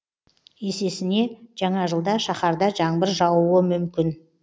есесіне жаңа жылда шаһарда жаңбыр жаууы мүмкін